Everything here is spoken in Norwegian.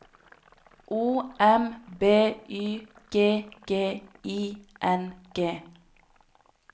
O M B Y G G I N G